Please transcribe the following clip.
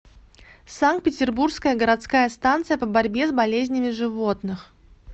санкт петербургская городская станция по борьбе с болезнями животных